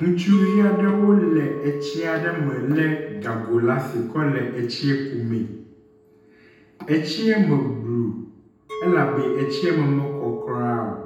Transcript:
Ŋutsuvi aɖewo le eti aɖe me le gago ɖe asi kɔ le etsi ku mee. Etsia me blu elabe etsi me mekɔ kuɖa o.